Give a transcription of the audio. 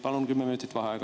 Palun kümme minutit vaheaega.